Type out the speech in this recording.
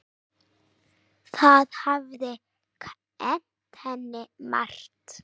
Þau hafi kennt henni margt.